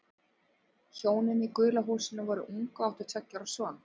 Hjónin í gula húsinu voru ung og áttu tveggja ára son.